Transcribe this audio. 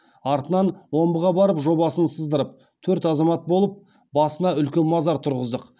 артынан омбыға барып жобасын сыздырып төрт азамат болып басына үлкен мазар тұрғыздық